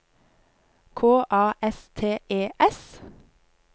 K A S T E S